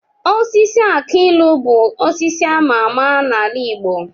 Osisi aki ilu bụ osisi ama ama n'ala igbo